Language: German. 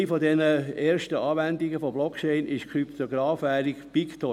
Eine dieser ersten Anwendungen von Blockchain war die Krypto-Währung Bitcoin.